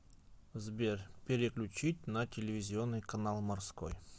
сбер переключить на телевизионный канал морской